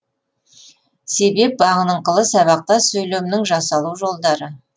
себеп бағыныңқылы сабақтас сөйлемнің жасалу жолдары